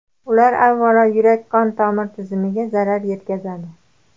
Ular, avvalo, yurak-qon tomir tizimiga zarar yetkazadi.